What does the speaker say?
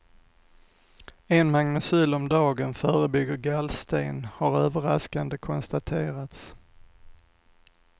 En magnecyl om dagen förebygger gallsten, har överraskande konstaterats.